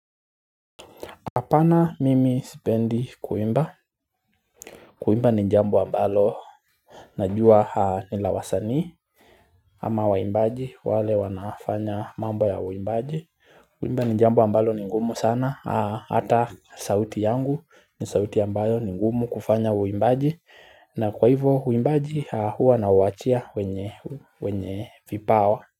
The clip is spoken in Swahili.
Apana mimi sipendi kuimba. Kuimba ni jambo ambalo. Najua nilawasani ama waimbaji wale wanafanya mambo ya uimbaji. Kuimba ni jambo ambalo ni ngumu sana. Hata sauti yangu ni sauti ambayo ni ngumu kufanya uimbaji na kwa hivyo uimbaji huwa na uwachia wenye vipawa.